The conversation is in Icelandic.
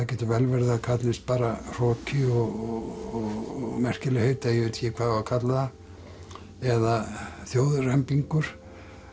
getur vel verið að það kallist bara hroki og eða ég veit ekki hvað á að kalla það eða þjóðrembingur